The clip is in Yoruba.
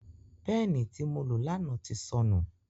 Peeni ti mo lo lana ti sọnu.